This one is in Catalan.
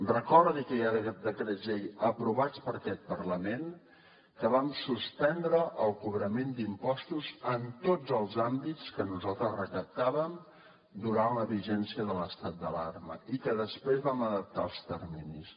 recordi que hi ha decrets llei aprovats per aquest parlament en què vam suspendre el cobrament d’impostos en tots els àmbits que nosaltres recaptàvem durant la vigència de l’estat d’alarma i que després vam adaptar els terminis